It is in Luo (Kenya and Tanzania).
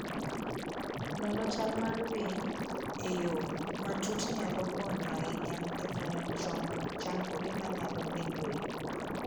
Nono chal mar winy e yo matut nyalo konyo ahinya e fwenyo chon chandruoge manyalo bedoe.